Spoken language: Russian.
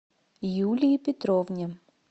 юлии петровне